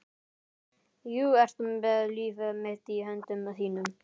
Þú ert með líf mitt í höndum þínum.